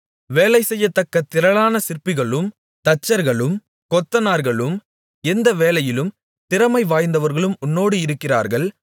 வேலை செய்யத்தக்க திரளான சிற்பிகளும் தச்சர்களும் கொத்தனார்களும் எந்த வேலையிலும் திறமைவாய்ந்தவர்களும் உன்னோடு இருக்கிறார்கள்